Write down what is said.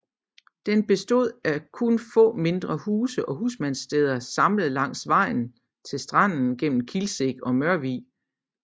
Den bestod af kun få mindre huse og husmandssteder samlet langs vejen til stranden mellem Kilseng og Mørvig